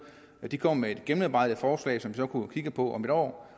de kunne komme med et gennemarbejdet forslag som vi så kunne kigge på om et år